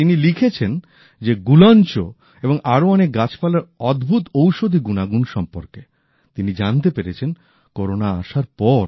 তিনি লিখেছেন যে গুলঞ্চ এবং আরো অনেক গাছপালার অদ্ভুত ঔষধি গুনাগুন সম্পর্কে তিনি জানতে পেরেছেন করোনা আসার পর